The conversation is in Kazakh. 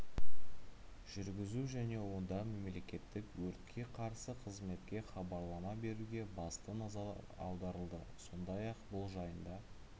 жүргізу және онда мемлекеттік өртке қарсы қызметке хабарлама беруге басты назар аударылды сондай-ақ бұл жайында